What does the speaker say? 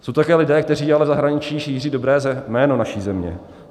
Jsou to také lidé, kteří ale v zahraničí šíří dobré jméno naší země.